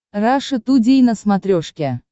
раша тудей на смотрешке